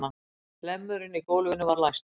Hlemmurinn í gólfinu var læstur.